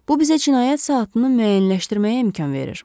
Bu bizə cinayət saatını müəyyənləşdirməyə imkan verir.